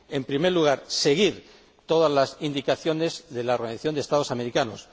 En primer lugar, seguir todas las indicaciones de la Organización de Estados Americanos.